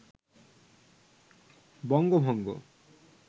বঙ্গভঙ্গ